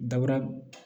Dabura